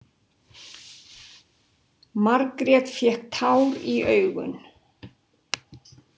Margrét fékk tár í augun.